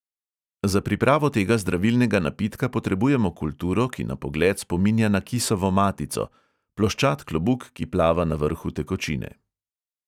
Za pripravo tega zdravilnega napitka potrebujemo kulturo, ki na pogled spominja na kisovo matico – ploščat klobuk, ki plava na vrhu tekočine.